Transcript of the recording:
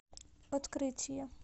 открытие